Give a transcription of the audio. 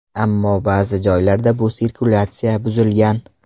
Ammo ba’zi joylarda bu sirkulyatsiya buzilgan.